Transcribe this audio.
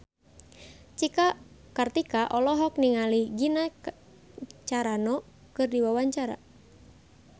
Cika Kartika olohok ningali Gina Carano keur diwawancara